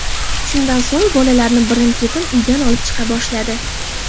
Shundan so‘ng bolalarni birin-ketin uydan olib chiqa boshladi.